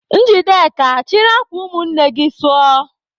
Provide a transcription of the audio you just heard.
Njideka, chịrị akwa ụmụnne gị sụọ!